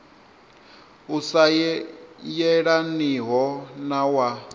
u sa yelaniho na wa